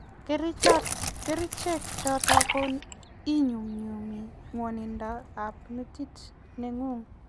kerichek chotok ko inyumnyumi nwanindo ab metit ng'ung